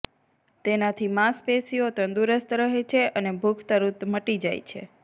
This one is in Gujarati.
તેનાથી માંસપેશિયો તુંદરસ્ત રહે છે અને ભૂખ તુરત મટી જાય છે